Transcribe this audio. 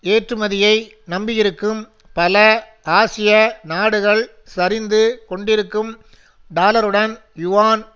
ஏற்றுமதியை நம்பியிருக்கும் பல ஆசிய நாடுகள் சரிந்து கொண்டிருக்கும் டாலருடன் யுவான்